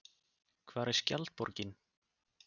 Hvar er Skjaldborgin?